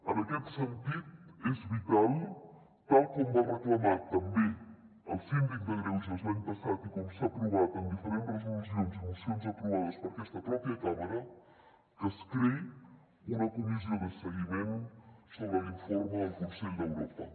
en aquest sentit és vital tal com va reclamar també el síndic de greuges l’any passat i com s’ha aprovat en diferents resolucions i mocions aprovades per aquesta pròpia cambra que es creï una comissió de seguiment sobre l’informe del consell d’europa